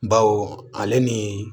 Baw ale ni